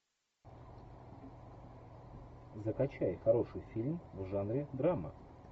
закачай хороший фильм в жанре драма